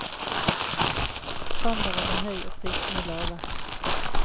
Standarden er høy og prisene lave.